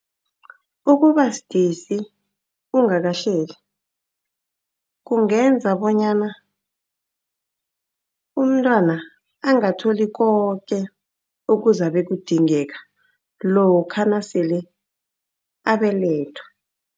Ukuba sidisi ungakahleli kungenza bonyana umntwana angatholi koke okuzabe kudingeka lokha nasele abelethwa.